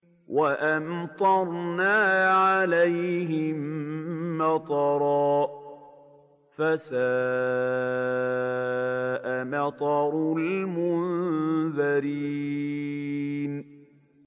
وَأَمْطَرْنَا عَلَيْهِم مَّطَرًا ۖ فَسَاءَ مَطَرُ الْمُنذَرِينَ